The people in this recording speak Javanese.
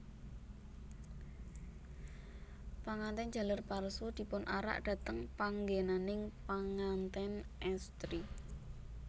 Pangantèn jaler palsu dipunarak dhateng panggènaning pangantèn èstri